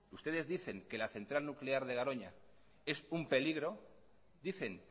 ustedes dicen que la central nuclear de garoña es un peligro dicen